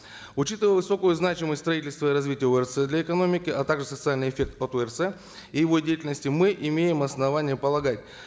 учитывая высокую значимость строительства и развития орц для экономики а также социальный эффект от орц и его деятельности мы имеем основания полагать